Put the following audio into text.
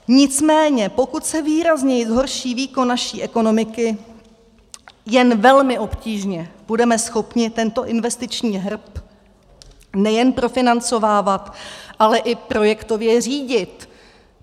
Nicméně pokud se výrazněji zhorší výkon naší ekonomiky, jen velmi obtížně budeme schopni tento investiční hrb nejen profinancovávat, ale i projektově řídit.